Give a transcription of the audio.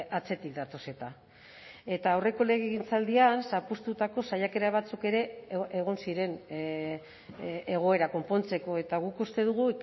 atzetik datoz eta eta aurreko legegintzaldian zapuztutako saiakera batzuk ere egon ziren egoera konpontzeko eta guk uste dugu